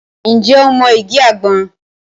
Ǹjẹ́ o mọ igi àgbọn?